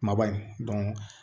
Kumaba in